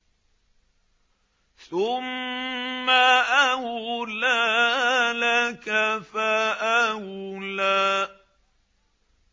ثُمَّ أَوْلَىٰ لَكَ فَأَوْلَىٰ